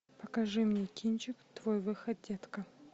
покажи мне кинчик твой выход детка